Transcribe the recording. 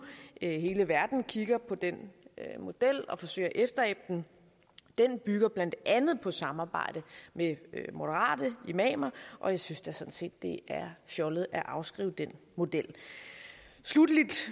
hele verden kigger på den model og forsøger at efterabe den den bygger blandt andet på samarbejde med moderate imamer og jeg synes da sådan set det er fjollet at afskrive den model sluttelig